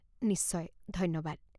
নিশ্চয়, ধন্যবাদ।